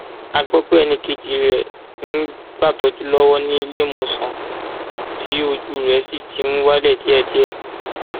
a gbọ pé ẹnì kejì rẹ ń gbàtọjú lọwọ níléemọsán tí ojú rẹ sì ti ń wálẹ díẹdíẹ